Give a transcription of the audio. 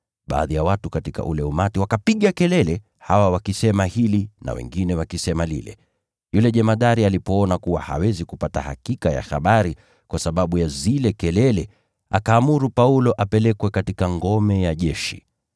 Baadhi ya watu katika ule umati wakapiga kelele, hawa wakisema hili na wengine lile. Yule jemadari alipoona kuwa hawezi kupata hakika ya habari kwa sababu ya zile kelele, akaamuru Paulo apelekwe katika ngome ya jeshi.